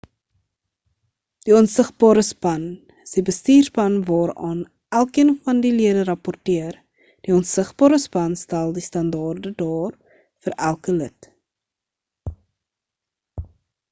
die onsigbare span is die bestuurspan waaraan elkeen van die lede rapporteer die onsigbare span stel die standaarde daar vir elke lid